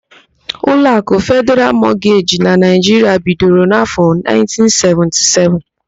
Ụlọakụ Fedịral Mọgeji nke Naịjiria bidoro n'áfọ,1977.